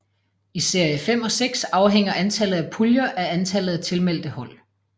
I serie 5 og 6 afhænger antallet af puljer af antallet af tilmeldte hold